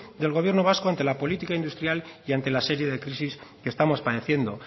del gobierno vasco ante la política industrial y ante la serie de crisis que estamos padeciendo